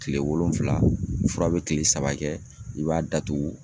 Kile wolonfila ,fura bɛ kile saba kɛ, i b'a datugu.